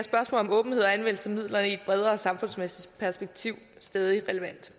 om åbenhed og anvendelse af midlerne i et bredere samfundsmæssigt perspektiv stadig relevant